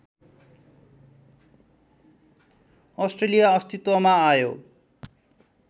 Australia अस्तित्वमा आयो